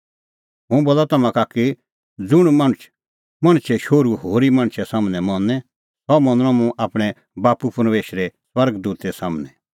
हुंह बोला तम्हां का कि ज़ुंण मुंह मणछे सम्हनै मनें सह मनणअ मुंह आपणैं बाप्पू परमेशरे स्वर्ग दूते सम्हनै